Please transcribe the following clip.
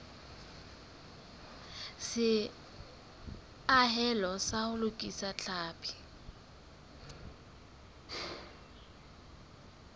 seahelo sa ho lokisa tlhapi